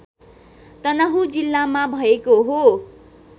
तनहुँ जिल्लामा भएको हो